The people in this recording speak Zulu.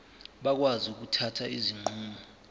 bakwazi ukuthatha izinqumo